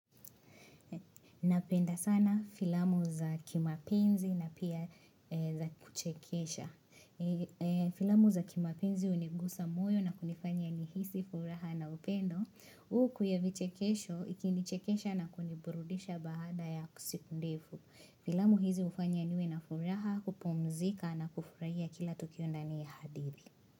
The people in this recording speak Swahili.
Na penda sana filamu za kimapenzi na pia za kuchekesha. Filamu za kimapenzi hunigusa moyo na kunifanya nihisi furaha na upendo. Uku ya vichekesho, ikinichekesha na kuniburudisha baada ya siku ndefu. Filamu hizi hufanya niwe na furaha kupumzika na kufurahia kila tukio ndani ya hadithi.